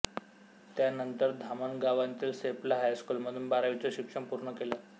त्यानंतर धामणगावांतील सेफला हायस्कूलमधून बारावीचं शिक्षण पूर्ण केलं